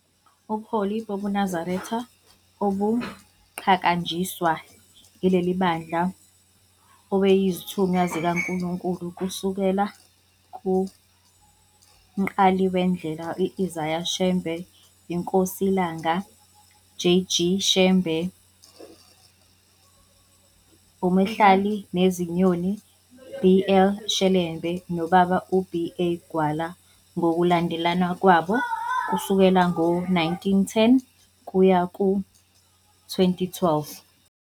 Ubuholi bobuNazaretha obuqhakanjiswa ileli bandla obezithunywa zikaNkulunkulu kusukela kuMqaliwendlela Isaiah Shembe, iNkosi iLanga, J. G. Shembe, uMhlalineziyoni, B. L Shelembe, noBaba u-B. A. Gwala ngokulandelana kwabo kusukela ngo-1910 kuya ku-2012.